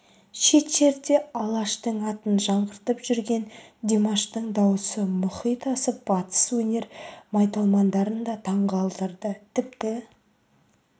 шет жерде алаштың атын жаңғыртып жүрген димаштың даусы мұхит асып батыс өнер майталмандарын да таңқалдырды тіпті